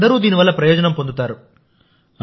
అందరూ దీని వల్ల ప్రయోజనం పొందుతారు